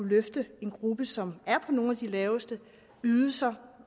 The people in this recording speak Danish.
løfte en gruppe som er på nogle af de laveste ydelser